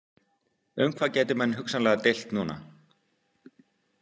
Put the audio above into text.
Um hvað gætu menn hugsanlega deilt núna?